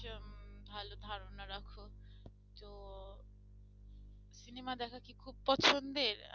Cinema দেখা কি খুব পছন্দের?